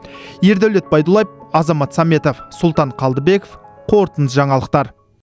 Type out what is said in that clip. ердәулет байдуллаев азамат саметов сұлтан қалдыбеков қорытынды жаңалықтар